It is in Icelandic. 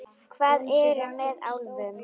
Hvað er með álfum?